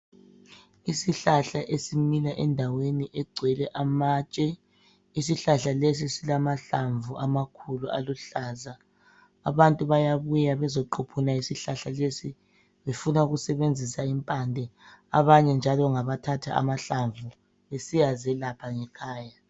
Isihlahla esimila endaweni egcwele amatshe, isihlahla lesi silamahlamvu amakhulu aluhlaza. Abantu bayabuya bezoquphuna isihlahla lesi befuna ukusebenzisa impande, abanye njalo ngabathatha amahlamvu besiyazelapha ngekhaya.